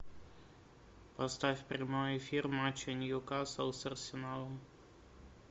поставь прямой эфир матча ньюкасл с арсеналом